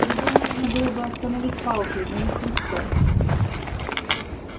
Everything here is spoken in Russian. его можно было бы остановить палкой но не хлыстом